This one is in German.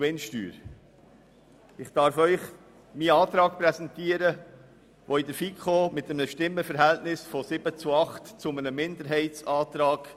Mein Antrag wurde in der FiKo mit einem Stimmenverhältnis von 7 zu 8 zu einem Minderheitsantrag.